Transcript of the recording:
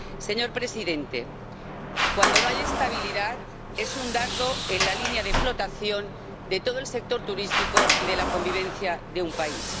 Señor presidente, cuando no hay estabilidad, es un dardo en la línea de flotación de todo el sector turístico y de la convivencia de un país.